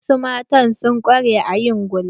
Wasu matan sun ƙware a yin gulma.